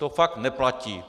To fakt neplatí.